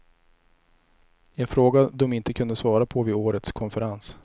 En fråga de inte kunde svara på vid årets konferens.